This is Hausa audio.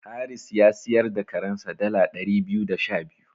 Haris ya siyar da karensa dala ɗari biyu da sha biyu.